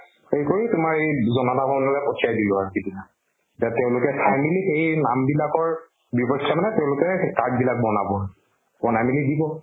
সেই কৰি তোমাৰ এই জনতা ভৱন্লৈ প্ঠাই দিলো আৰু সিদিনা। তাত তেওঁলোকে finally সেই নাম বিলাকৰ চাই মানে তেওঁলোকৰ card বিলাক বনাব। বনাই মেলি দিব।